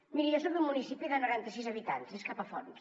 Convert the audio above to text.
miri jo soc d’un municipi de noranta sis habitants capafonts